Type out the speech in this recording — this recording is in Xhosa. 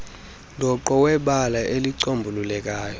dooqo webali elicombulukayo